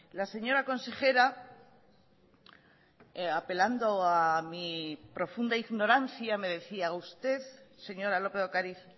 la señora consejera apelando a mi profunda ignorancia me decía usted señora lópez de ocariz